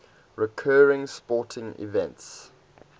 recurring sporting events